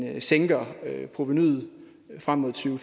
at man sænker provenuet frem mod to